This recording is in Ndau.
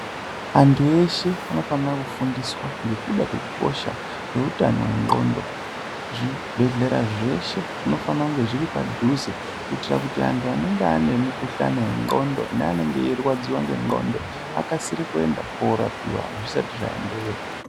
Antu eshe anofanira kufundiswa ngekuda kwekusha kwehutano hwendxondo. Zvibhedhlera zveshe zvinofanira kutizvipadhuze kuitira kuti antu anenge anemukuhlane yendxondo neanenge eyirwadziwa ngendxondo akasire kuenda kunorapiwa zvisati zvaenderera.